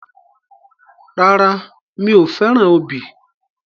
Rárá, mi ò fẹ́ràn obì.